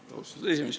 Austatud esimees!